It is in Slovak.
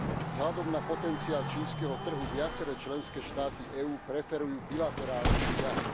Vzhľadom na potenciál čínskeho trhu viaceré členské štáty EÚ preferujú bilaterálne vzťahy.